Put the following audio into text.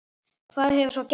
Hvað hefur svo gerst?